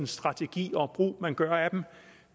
strategi og brug man gør af dem